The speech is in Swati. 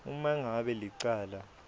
uma ngabe licala